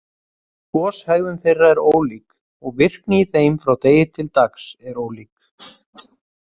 Goshegðun þeirra er ólík, og virkni í þeim frá degi til dags er ólík.